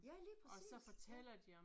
Ja lige præcis ja